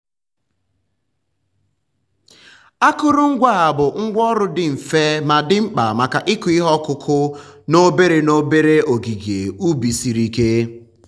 akụrụngwa a bụ ngwá ọrụ dị mfe ma dị mkpa maka ịkụ ihe ọkụkụ n'obere n'obere ogige ubi siri ike.